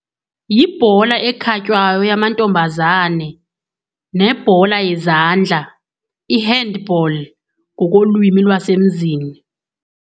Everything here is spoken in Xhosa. Yibhola ekhatywayo yamantombazana nebhola yezandla, i-handball ngokolwimi lwasemzini.